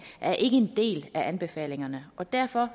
er ikke en del af anbefalingerne og derfor